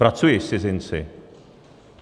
Pracuji s cizinci.